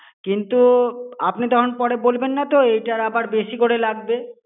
কিন্তু, আপনি তখন পরে বলবেন না তো এইটার আবার বেশি করে লাগবে।